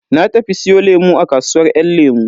Na tafi siyo lemu a kasuwar yan lemu.